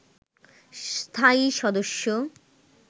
স্থায়ী সদস্য